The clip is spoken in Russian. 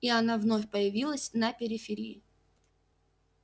и она вновь появилась на периферии